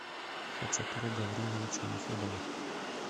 хачатура гавриловича нефедова